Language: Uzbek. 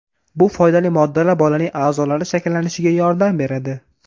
Bu foydali moddalar bolaning a’zolari shakllanishiga yordam beradi.